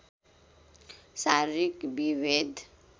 शारीरिक विभेद